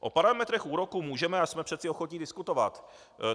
O parametrech úroků můžeme a jsme přece ochotni diskutovat.